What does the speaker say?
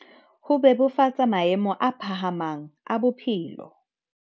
Ho bebofatsa maemo a phahamang a bophelo